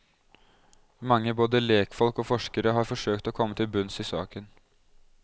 Mange, både lekfolk og forskere, har forsøkt å komme til bunns i saken.